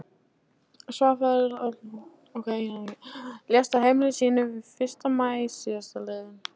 Svarfaðardal, lést á heimili sínu hinn fyrsta maí síðastliðinn.